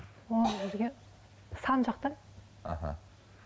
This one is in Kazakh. ол жерге сан жақтан аха